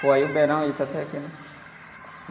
Pô, aí o beirão ele tá até aqui, né?